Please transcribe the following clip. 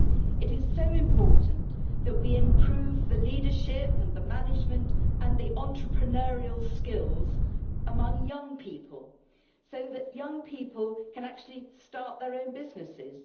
It is so important that we improve the leadership and the management and the entrepreneurial skills among young people so that young people can actually start their own businesses